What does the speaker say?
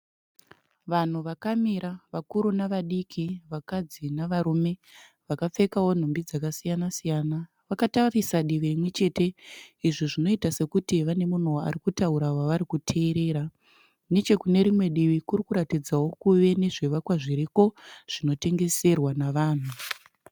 Vanhu vakamira, vakuru navadiki, vakadzi nevarume vakapfekawo nhumbi dzakasiyana-siyana. Vakatarisa divi rimwechete izvo zvinoita sekuti vane munhu arikutaura wavarikuteerera Nechekunerimwe divi kurikuratidzawo kuve nezvivakwa zviriko zvinotengeserwa navanhu.